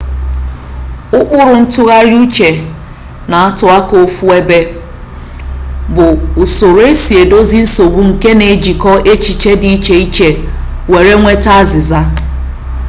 ụkpụrụ ntụgharị uche na-atụ aka ofu ebe bụ usoro esi edozi nsogbu nke na-ejikọ echiche dị iche iche were nweta azịza